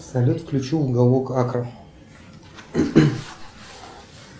салют включи уголок акра